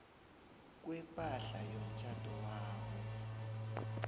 kwepahla yomtjhado wabo